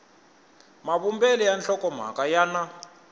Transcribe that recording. mavumbelo ya nhlokomhaka ya na